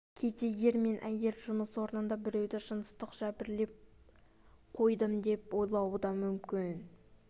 кейде ер мен әйел жұмыс орнында біреуді жыныстық жәбірлеп қойдым деп ойлауы да мүмкін